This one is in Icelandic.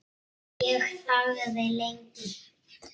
Ég þagði lengi.